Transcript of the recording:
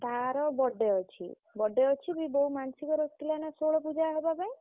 ତାର birthday ଅଛି birthday ପୁଣି ବୋଉ ମାନସିକ ରଖିଥିଲା ନା ଷୋଳ ପୁଜା ହବା ପାଇଁ।